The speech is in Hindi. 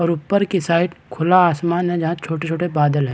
और ऊपर की साइड खुला आसमान हैजहाँ छोटे-छोटे बादल है।